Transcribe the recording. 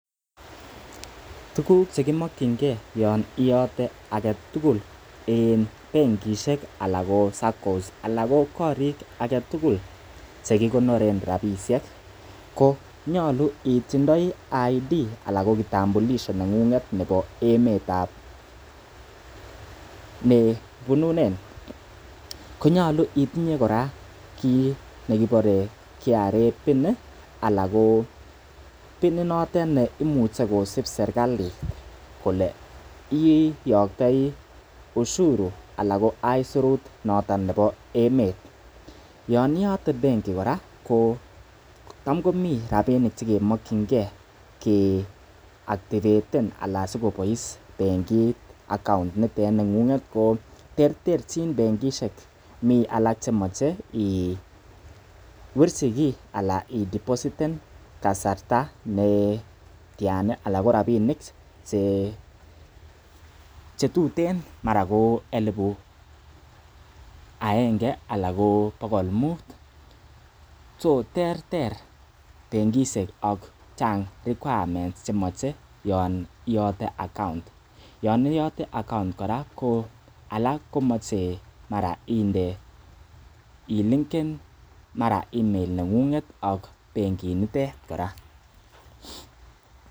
Tuguk che kimokinge yon iyote age tugul en benkishek anan SACCOishek anan ko korik alak tugul ch ekigonoren rabishek konyolu itindoi ID anan ko kitambulisho ne ng'ung'et nebo emet ne ibununen konyolu itinye kora kiit nekibore KRA PIN anan ko PIN inotet neimuch ekosib serkalit kole iyoktoi ushuru anan ko aisurut noton nebo emet. Yon iyote benki kora ko tam komi rabinik che kimokinge keactivaten anan sikobois benkit account initet neng'ung. Terterchin benkishek, mi alak chemoche iwirchi kiy ana idepostiten kasarta ne tyan anan ko rabinik che tuten, mara ko elibu agenge anan ko bogol mut so terter bengishek ago chang requirements chemoche yon iyote account yon iyote account kora ko alak komoch emara inde ilinken mara email neng'ung ak benginitet kora.